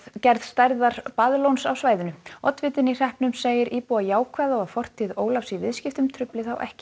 gerð stærðar á svæðinu oddvitinn í hreppnum segir íbúa jákvæða og að fortíð Ólafs í viðskiptum trufli þá ekki